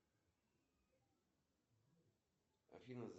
афина сколько сейчас времени в моем городе